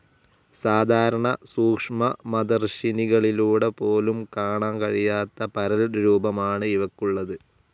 സാധാരണ സൂക്ഷ്മദർശിനികളിലൂടെ പോലും കാണാൻ കഴിയാത്ത പരൽരൂപമാണ് ഇവയ്ക്കുള്ളത്.